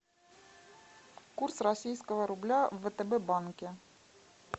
курс российского рубля в втб банке